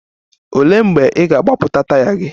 Olee mgbe ị ga-agbapụta taya gị?